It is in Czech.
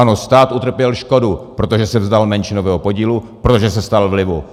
Ano, stát utrpěl škodu, protože se vzdal menšinového podílu, protože se vzdal vlivu.